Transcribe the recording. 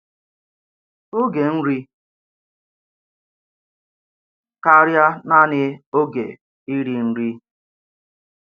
Ògé nri kárịà naanị ògé íri nri!